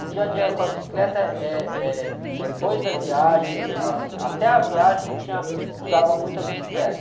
O dia a dia com a bicicleta eh, eh, depois da viagem, assim, até a viagem tinha, usava muito a bicicleta.